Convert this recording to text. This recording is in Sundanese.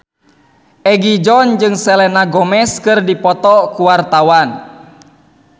Egi John jeung Selena Gomez keur dipoto ku wartawan